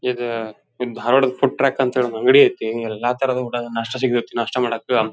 ಇದು ಇದು ಧಾರವಾಡ ದ್ ಫುಡ್ ಟ್ರಕ್ ಅಂತ ಒಂದ್ ಅಂಗಡಿ ಅಯ್ತಿ ಎಲ್ಲಾ ತರದ ನಾಸ್ಟಾ ಸಿಗತ್ ನಾಸ್ಟಾ ಮಾಡಕ್--